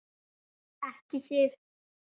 Ekki Sif.